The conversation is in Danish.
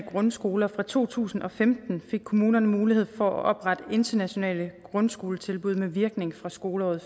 grundskoler fra to tusind og femten fik kommunerne mulighed for at oprette internationale grundskoletilbud med virkning fra skoleåret